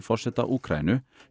forseta Úkraínu